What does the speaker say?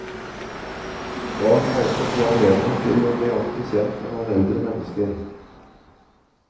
Barn må også få anledning til å bli ordentlig kjent med noen eldre mennesker.